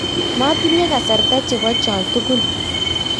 matinye kasarta chebo cho tugul